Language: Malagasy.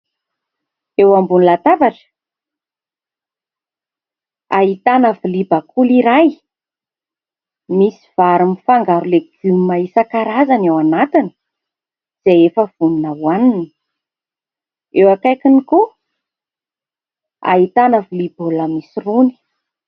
Eo ambony latabatra, ahitana vilia bakoly iray misy vary mifangaro legioma isan-karazany ao anatiny izay efa vonona hoanina. Eo akaikiny koa ahitana vilia baolina misy rony.